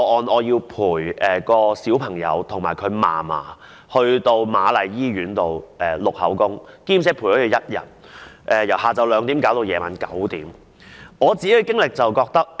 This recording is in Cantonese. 我要陪伴一位小朋友及其祖母到瑪麗醫院錄取口供，陪伴了1天，由下午2時到晚上9時才完成。